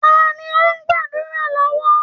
Ta ni ó ń gbàdùrá lọ́wọ́?